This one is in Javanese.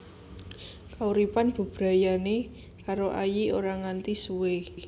Kauripan bebrayanané karo Ayik ora nganti suwé